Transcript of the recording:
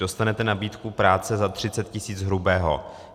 Dostanete nabídku práce za 30 tis. hrubého.